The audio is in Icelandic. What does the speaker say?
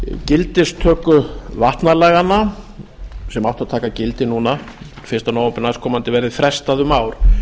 gildistöku vatnalaganna sem áttu að taka gildi núna fyrsta nóvember næstkomandi verði frestað um ár